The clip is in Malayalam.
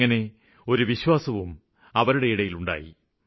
അങ്ങിനെ ഒരു വിശ്വാസവും അവരില് ഉണ്ടായി